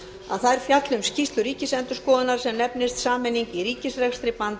að þær fjalli um skýrslur ríkisendurskoðunar sem nefnist sameining í ríkisrekstri